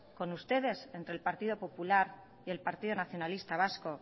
con ustedes entre el partido popular y el partido nacionalista vasco